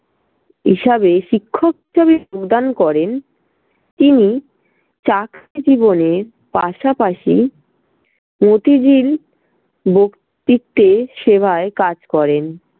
হিসাবে শিক্ষক প্রদান করেন। তিনি চাকরি জীবনের পাশাপাশি প্রতিদিন বক্তিত্তের সেবায় কাজ করেন।